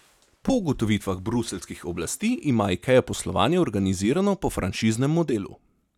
Po ugotovitvah bruseljskih oblasti ima Ikea poslovanje organizirano po franšiznem modelu.